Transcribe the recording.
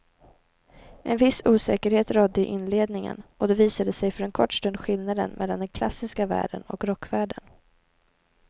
En viss osäkerhet rådde i inledningen och då visade sig för en kort stund skillnaden mellan den klassiska världen och rockvärlden.